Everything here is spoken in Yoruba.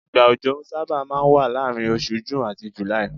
igba ọjọ saba ma n wa laarin osù June ati July